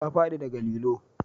Ta fadi da ga lilo